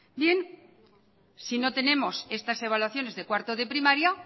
bien si no tenemos estas evaluaciones de cuarto de primaria